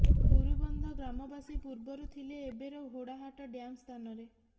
ବୁରୁବନ୍ଧ ଗ୍ରାମବାସୀ ପୁର୍ବରୁ ଥିଲେ ଏବେର ଘୋଡାହାଡ ଡ୍ୟାମ୍ ସ୍ଥାନରେ